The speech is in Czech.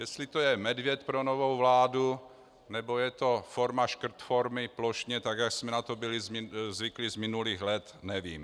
Jestli to je medvěd pro novou vládu, nebo je to forma škrtformy plošně, tak jak jsme na to byli zvyklí z minulých let, nevím.